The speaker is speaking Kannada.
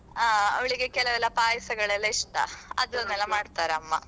ಹಾ ಅವ್ಳಿಗೆ ಕೆಲವೆಲ್ಲ ಪಾಯಸಗಳೆಲ್ಲಾ ಇಷ್ಟ ಅದೆನ್ನೆಲ್ಲಾ ಮಾಡ್ತಾರೆ ಅಮ್ಮ.